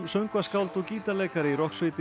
söngvaskáld og gítarleikari í